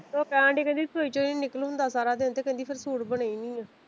ਅੱਛਾ ਤੇ ਉਹ ਕਹਿਣ ਡੀ ਕਹਿੰਦੀ ਰਸੋਈ ਚੋ ਨੀ ਨਿਕਲ ਹੁੰਦਾ ਸਾਰਾ ਦਿਨ ਤੇ ਕਹਿੰਦੀ ਫਿਰ ਸੂਟ ਬਣੇ ਹੀ ਨਹੀਂ ਆ।